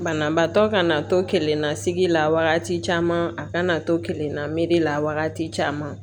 Banabaatɔ kana to kelenna sigi la wagati caman a kana to kelenna meri la wagati caman